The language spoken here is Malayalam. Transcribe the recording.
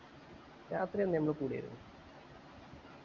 രാത്രിയെന്നെ അന്ന് കൂടിയായിരുന്നു